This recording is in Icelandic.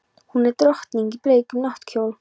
Hún er drottning í bleikum náttkjól.